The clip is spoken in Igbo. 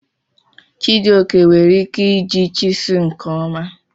Chijioke nwere ike iji chiselụ nke ọma.